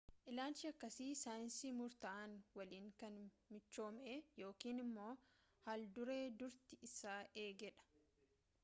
ilaalchi akkasii saayinsii murtaa'an walin kan michoome yookaan immo haalduree durtii isaa eege dha